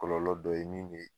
Kɔlɔlɔ dɔ ye min be